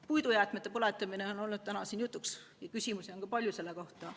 Puidujäätmete põletamine on olnud ka täna siin jutuks ja küsimusi on ka palju selle kohta.